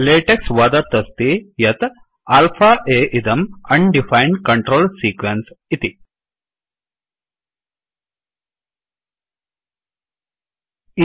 LaTeX वदत् अस्ति यत् alpha अ इदं undefined control sequence undefined control sequence इति